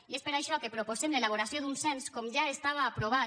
i és per això que en proposem l’elaboració d’un cens com ja estava aprovat